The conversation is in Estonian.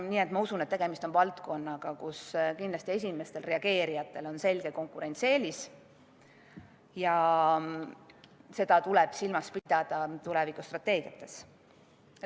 Nii et ma usun, et tegemist on valdkonnaga, kus esimestel reageerijatel on kindlasti selge konkurentsieelis, ja seda tuleb tulevikustrateegiates silmas pidada.